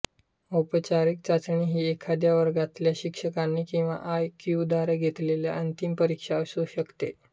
औपचारिक चाचणी ही एखाद्या वर्गातल्या शिक्षकांनी किंवा आय क्यू द्वारे घेतलेली अंतिम परीक्षा असू शकते